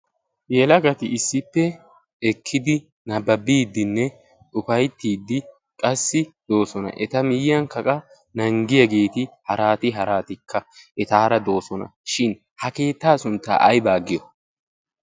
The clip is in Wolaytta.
yelagati issippe ekkidi nabbabiiddinne xufaittiiddi qassi doosona eta miyyiyan kaqa nanggiyaageeti haraati haraatikka etaara doosona shin ha keettaa sunttaa aybaa giyo?